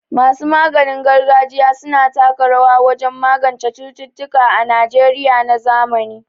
Masu maganin gargajiya su na taka rawa wajen magance cututtuka a Najeriya na zamani.